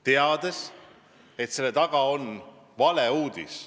Väga hästi teati, et tegu on valeuudisega.